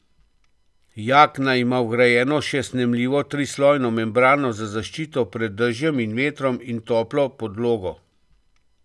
Jakna ima vgrajeno še snemljivo trislojno membrano za zaščito pred dežjem in vetrom in toplo podlogo.